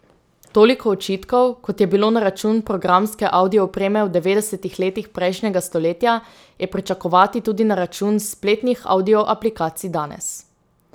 Toliko očitkov, kot je bilo na račun programske avdio opreme v devetdesetih letih prejšnjega stoletja, je pričakovati tudi na račun spletnih avdio aplikacij danes.